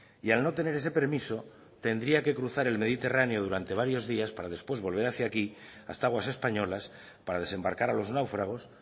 y al no tener ese permiso tendría que cruzar el mediterráneo durante varios días para después volver hacía aquí hasta aguas españolas para desembarcar a los náufragos